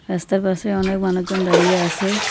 রাস্তার পাশে অনেক মানুষজন দাঁড়িয়ে আছে।